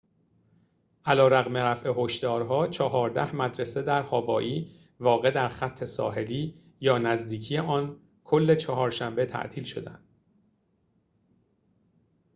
علیرغم رفع هشدارها چهارده مدرسه در هاوایی واقع در خط ساحلی یا نزدیکی آن کل چهارشنبه تعطیل شدند